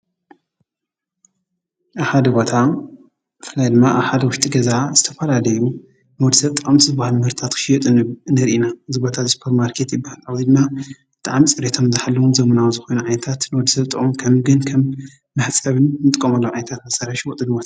ኣብ ሓደ ቦታ ብፍላይ ድማ ኣብ ሓደ ዉሽጢ ገዛ ዝተፈላለዩ ናድ ሰርጠም ዝበሃል ምህርታት ክሽየጥ ንርኢ ኢና፡፡ እዚ ቦታ ሱፐርማርከት ይበሃል፡፡ ወይ ድማ ፅርየቶም ዝሓለዉን ዘመናዊ ዝኾኑ ዓይነታት ንወዲ ሰብ ዝጠቕሙ ከም ግን ከም መሕፀቢ ንጥቀመሎም ዓይነታት መሳርሒ ይሽወጡ፡፡